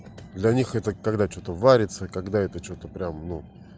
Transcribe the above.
для них это когда что-то варится когда это что-то прям ну